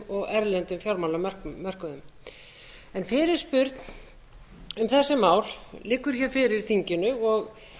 og erlendum fjármálamörkuðum fyrirspurn um þessi mál liggur hér fyrir þinginu og